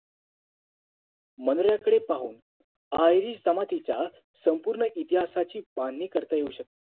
मनोर्याकडे पाहून Irish जमातीच्या संपूर्ण इतिहासाची बांधणी करता येऊ शकते